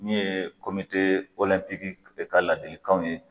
Min ye de ka ladilikanw ye